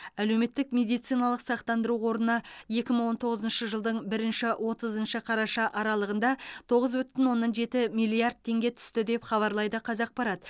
әлеуметтік медициналық сақтандыру қорына екі мың он тоғызыншы жылдың бірінші отызыншы қараша аралығында тоғыз бүтін оннан жеті миллиард теңге түсті деп хабарлайды қазақпарат